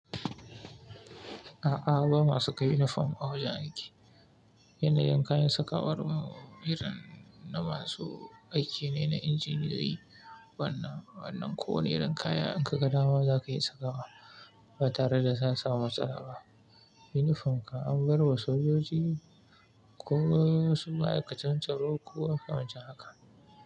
A'a, ba ma saka uniform a wajen aiki. Yanayin kayan sakawanmu irin na masu aiki ne na injiniyoyi, wannan wannan ko wani irin kaya in ka ga dama za ka iya sakawa ba tare daka samu matsala ba. Uniform kan an bar wa sojoji ko wasu ma'aikatan tsaro ko abinci haka.